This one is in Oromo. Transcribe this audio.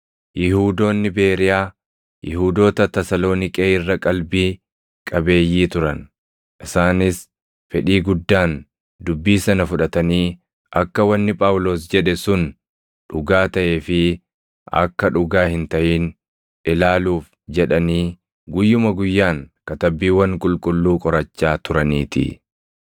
Yihuudoonni Beeriyaa Yihuudoota Tasaloniiqee irra qalbii qabeeyyii turan; isaanis fedhii guddaan dubbii sana fudhatanii akka wanni Phaawulos jedhe sun dhugaa taʼee fi akka dhugaa hin taʼin ilaaluuf jedhanii guyyuma guyyaan Katabbiiwwan Qulqulluu qorachaa turaniitii.